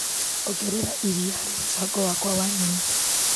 Ongerera iria harĩ mũbango wakwa wa nyeni .